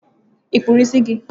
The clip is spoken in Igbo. I kpụrụ isi gi?